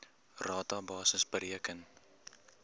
rata basis bereken